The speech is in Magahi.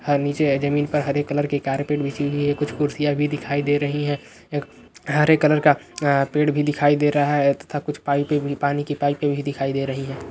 नीचे जमीन पर हरी कलर की कारपेट बिछी हुई हैं और कुछ कुर्सियाँ भी दिखाई दे रही है हरे कलर का पेड़ दिखाई दे रहा है तथा कुछ पाइपे भी कुछ पानी की पाइप भी दिखाई दे रही है।